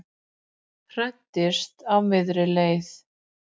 Hræddist á miðri leið